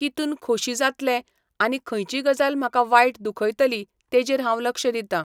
कितून खोशी जातलें आनी खंयची गजाल म्हाका वायट दुखयतली तेजेर हांव लक्ष दितां.